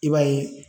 I b'a ye